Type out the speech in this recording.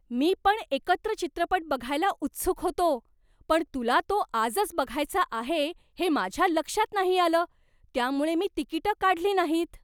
मी पण एकत्र चित्रपट बघायला उत्सुक होतो, पण तुला तो आजच बघायचा आहे हे माझ्या लक्षात नाही आलं, त्यामुळे मी तिकिटं काढली नाहीत.